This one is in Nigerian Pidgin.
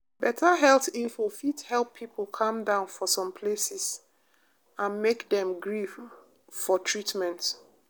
better health info fit help people calm down for some places and make dem gree for treatment.